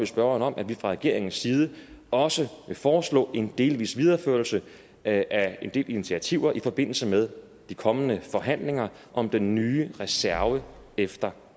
spørgeren om at vi fra regeringens side også vil foreslå en delvis videreførelse af en del initiativer i forbindelse med de kommende forhandlinger om den nye reserve efter